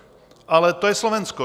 Ale to je Slovensko.